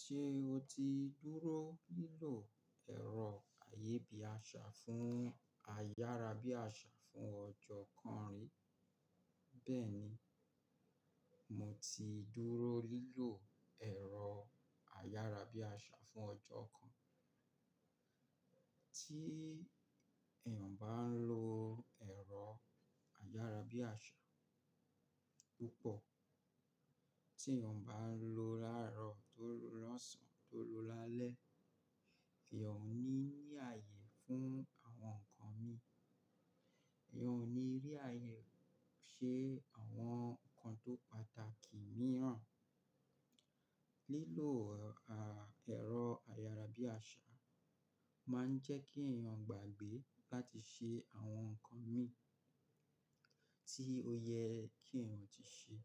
Ṣé o ti dúró lílò ẹ̀rọ ayébíàṣà fún ayárabíàṣà fún ọjọ́ kan rí? Bẹ́ẹ̀ni, mo ti dúró lílò ẹ̀rọ ayárabíàṣà fún ọjọ́ kan. Tí èèyàn bá ń lo ẹ̀rọ ayárabíàṣà púpọ̀, tí èèyàn bá ń lo láàárọ̀ tó lọ́sàn-án tó lo lálẹ́, èèyàn ò ní ní ààyè fún àwọn nǹkan mìíràn. Èèyàn ò ní rí ààyè ṣe àwọn nǹkan tó pàtàkì mìíràn. Lílò ẹ̀rọ ayárabíàṣà máa ń jẹ́ kí èèyàn gbàgbé láti ṣe àwọn nǹkan mìíràn tí ó yẹ kí èèyàn ti ṣe.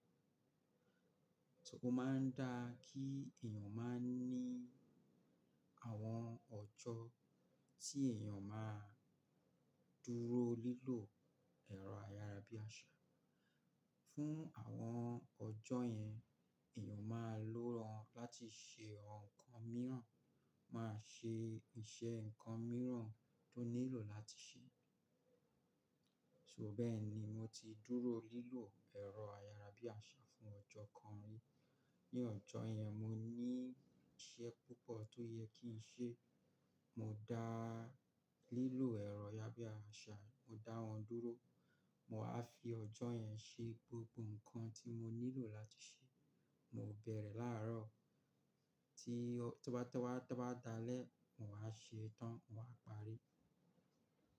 O máa ń dáa kí èèyàn máa ní àwọn ọjọ́ tí èèyàn máa dúró lílò ẹ̀rọ ayárabíàṣà. Fún àwọn ọjọ́ yẹn, èèyàn máa lòóran láti ṣe àwọn nǹkan mìíràn, máa ṣe iṣẹ́ nǹkan mìíràn tó nílò láti ṣe. So bẹ́ẹ̀ni, mo ti dúró lílò ẹ̀rọ ayárabíàṣà fún ọjọ́ kan rí. Ni ọjọ́ yẹn, mo ní iṣẹ́ púpọ̀ tó yẹ kí n ṣe. Mo dá lílò ẹ̀rọ ayárabíàṣà, mo dá wọn dúró. Mo máa fi ọjọ́ yẹn ṣe gbogbo nǹkan tí mo nílò láti ṣe. Mo bẹ̀rẹ̀ láàárọ̀ tí-- tó bá, tó bá, tó bá dalẹ́, mo máa ṣe é tán, mo máa parí.